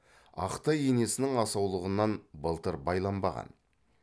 ақ тай енесінің асаулығынан былтыр байланбаған